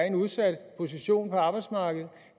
en udsat position på arbejdsmarkedet